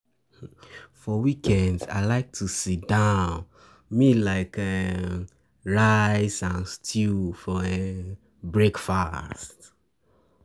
For weekends, I like to enjoy sit-down meal like um rice and stew for um breakfast.